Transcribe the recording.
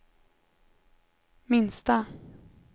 minsta